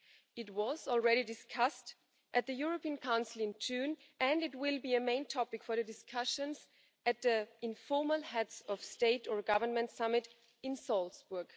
It was already discussed at the European Council in June and it will be a main topic for the discussions at the informal Heads of State or Government summit in Salzburg.